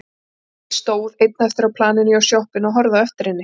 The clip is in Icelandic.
Emil stóð einn eftir á planinu hjá sjoppunni og horfði á eftir henni.